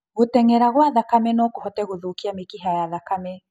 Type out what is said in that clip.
Gũteng'era gwa thakame nokũhote gũthũkia mĩkiha ya thakame